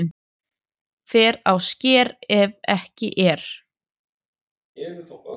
Fer á sker ef ekki er